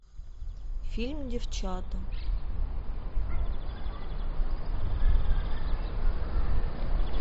фильм девчата